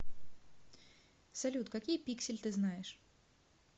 салют какие пиксель ты знаешь